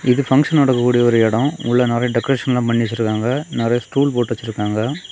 இது பங்க்ஷன் நடக்கக்கூடிய ஒரு இடம் உள்ள நறைய டெக்கரேஷன்ல்லாம் பண்ணி வச்சிருக்காங்க நறைய ஸ்டூல் போட்டு வச்சிருக்காங்க.